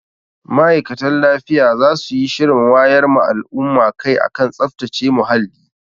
Ma'aikatan lafiya za su yi shirin wayar ma al'umma kai a kan tsaftace muhalli.